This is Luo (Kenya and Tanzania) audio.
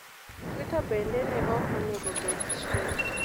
Twitter bende ne ok enego bed chien